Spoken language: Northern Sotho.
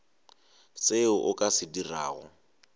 seo o ka se dirago